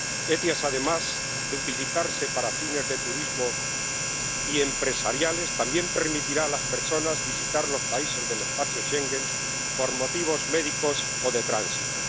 El SEIAV, además de utilizarse para fines de turismo y empresariales, también permitirá a las personas visitar los países del espacio Schengen por motivos médicos o de tránsito.